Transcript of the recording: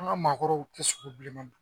An ka maakɔrɔw tɛ sɔn bilenman don